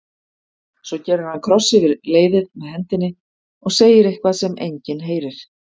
Svo gerir hann kross yfir leiðið með hendinni og segir eitthvað sem enginn heyrir.